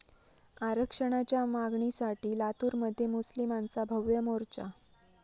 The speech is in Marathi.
आरक्षणाच्या मागणीसाठी लातूरमध्ये मुस्लिमांचा भव्य मोर्चा